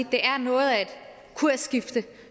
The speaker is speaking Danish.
det er noget af et kursskifte